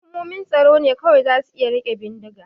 Hukumomin tsaro ne kawai za su iya rike bindiga.